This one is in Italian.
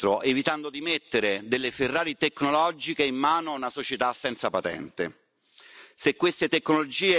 L'uomo deve essere sempre al centro evitando di mettere delle Ferrari tecnologiche in mano a una società senza patente.